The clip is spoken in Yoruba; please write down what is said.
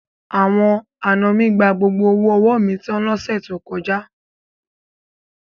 Àwọn àna mi gba gbogbo owó ọwọ́ mi tan lọ́sẹ̀ tó kọjá.